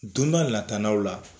Don n'a lataanaw la